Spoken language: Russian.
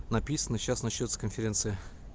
написано сейчас начнётся конференция